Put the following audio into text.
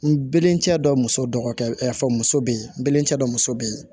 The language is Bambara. N bɛlen cɛ dɔ muso dɔgɔkɛ fon muso bɛ yen n bɛlen cɛ dɔ muso bɛ ye